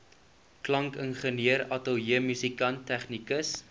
klankingenieur ateljeemusikant tegnikus